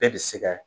Bɛɛ bi se kɛ